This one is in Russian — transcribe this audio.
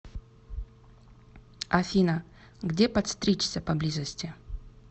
афина где подстричься поблизости